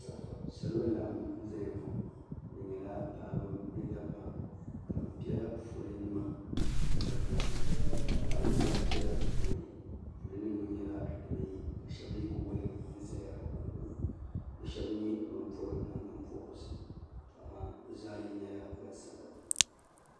salo n laɣim zaya ŋɔ bɛ nyɛla paɣ' ba ni da ba ka be pɛla ƒɔli nima da ba ka paɣ' ba gba pɛla ƒɔli niriba ŋɔ nyɛla sibai yi ka shɛba yɛ kuli waligi ʒɛ be konko be shɛbi nyɛ ban pobi nagbanpɔrigu tu amaa be zaa lɛɛ nyɛla gbansabila